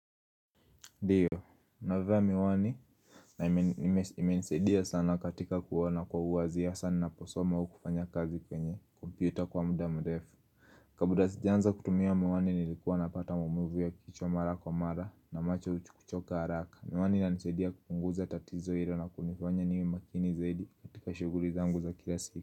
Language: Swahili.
Ndiyo, navaa miwani na imenisaidia sana katika kuona kwa uwazi hasa ninaposoma au kufanya kazi kwenye kompyuta kwa muda mdefu Kabla sijaanza kutumia miwani nilikuwa napata maumivu ya kichwa mara kwa mara na macho kucho kuchoka haraka. Miwani inanisaidia kupunguza tatizo hilo na kunifanya niwe makini zaidi katika shuguli zangu za kila siku.